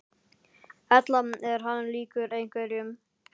Erla: Er hann líkur einhverjum?